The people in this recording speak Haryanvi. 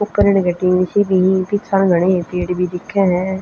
ऊपर इण क टीन सी भी हं पीछाह न घणे पेड़ भी दिक्खे ह।